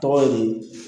Tɔgɔ di